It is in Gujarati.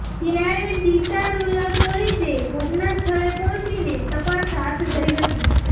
ત્યારે ડીસા રૂરલ પોલીસે ઘટનાસ્થળે પહોંચીને તપાસ હાથધરી હતી